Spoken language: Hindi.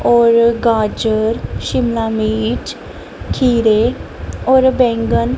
और गाजर शिमला मिर्च खीरे और बैंगन--